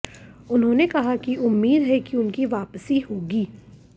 उन्होंने कहा कि उम्मीद है कि उनकी वापसी होगी